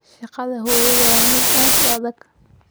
Shaqada hooyada waa mid aad u adag.